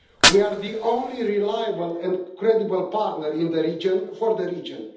We are the only reliable and credible partner in the region for the region.